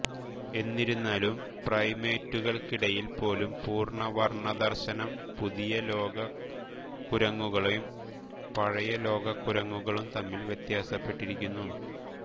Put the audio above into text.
എന്നിരുന്നാലും പ്രൈമേറ്റുകൾക്കിടയിൽ പോലും പൂർണ്ണ വർണ്ണ ദർശനം പുതിയ ലോക കുരങ്ങുകളും പഴയ ലോക കുരങ്ങുകളും തമ്മിൽ വ്യത്യാസപ്പെട്ടിരിക്കുന്നു